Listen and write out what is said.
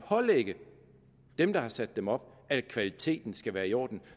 pålægge dem der har sat dem op at kvaliteten skal være i orden